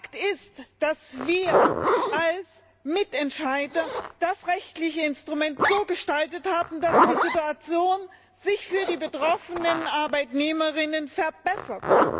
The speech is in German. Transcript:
Fakt ist, dass wir als Mitentscheider das rechtliche Instrument so gestaltet haben, dass die Situation sich für die betroffenen Arbeitnehmerinnen und Arbeitnehmer verbessert.